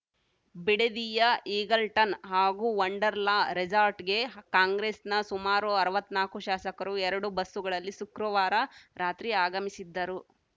ಬಿಡದಿಯ Eagleton ಹಾಗೂ Wonderla ರೆಸಾರ್ಟ್‌ಗೆ ಕಾಂಗ್ರೆಸ್‌ನ ಸುಮಾರು ಅರವತ್ತ್ನಾಲ್ಕು ಶಾಸಕರು ಎರಡು ಬಸ್ಸುಗಳಲ್ಲಿ ಸುಕ್ರವಾರ ರಾತ್ರಿ ಆಗಮಿಸಿದ್ದರು